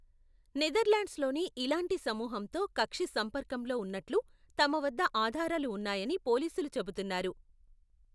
నెదర్లాండ్స్లోని ఇలాంటి సమూహంతో కక్షి సంపర్కంలో ఉన్నట్లు తమ వద్ద ఆధారాలు ఉన్నాయని పోలీసులు చెబుతున్నారు.